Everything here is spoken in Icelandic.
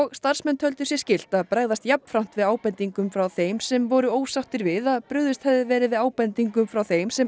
starfsmenn töldu sér skylt að bregðast jafnframt við ábendingum frá þeim sem voru ósáttir við að brugðist hefði verið við ábendingum frá þeim sem